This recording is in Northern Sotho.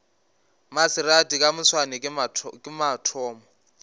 maserati ka moswane ke mathomo